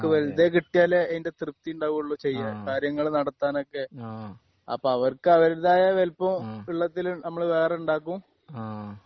ഹ്മ് ആഹ് ആഹ്ആഹ്ആഹ്